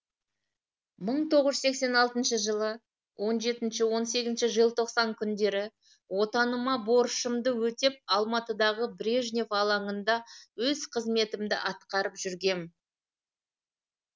бір мың тоғыз жүз сексен алтыншы жылы он жеті он сегізінші желтоқсан күндері отаныма борышымды өтеп алматыдағы брежнев алаңында өз қызметімді атқарып жүргем